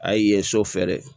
A y'i ye so fɛ dɛ